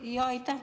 Aitäh!